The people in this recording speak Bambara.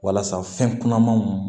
Walasa fɛn kunamanw